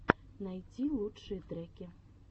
найти лучшие треки